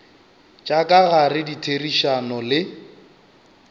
tša ka gare ditherišano le